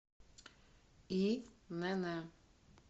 инн